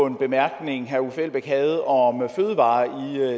en bemærkning herre uffe elbæk havde om fødevarer